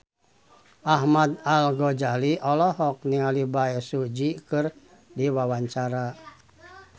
Ahmad Al-Ghazali olohok ningali Bae Su Ji keur diwawancara